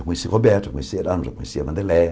Eu conheci Roberto, eu conheci Erasmos, eu conheci a Vandeléia.